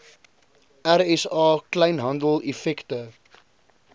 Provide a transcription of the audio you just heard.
rsa kleinhandel effekte